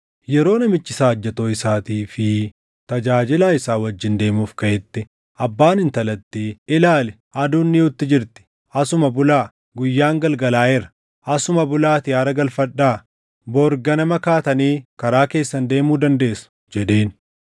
Yeroo namichi saajjatoo isaatii fi tajaajilaa isaa wajjin deemuuf kaʼetti abbaan intalattii, “Ilaali! Aduun dhiʼuutti jirti. Asuma bulaa; guyyaan galgalaaʼeera. Asuma bulaatii aara galfadhaa. Bori ganamaan kaatanii karaa keessan deemuu dandeessu” jedheen.